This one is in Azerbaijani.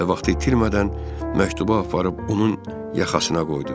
və vaxtı itirmədən məktubu aparıb onun yaxasına qoydu.